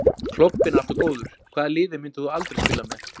Klobbinn er alltaf góður Hvaða liði myndir þú aldrei spila með?